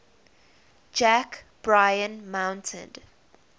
jack bryan mounted